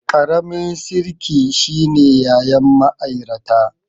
Ƙaramin sirki shine yayan ma'airata